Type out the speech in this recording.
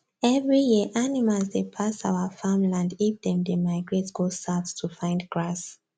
every year animals dey pass our farm land if them dey migrate go south to find grass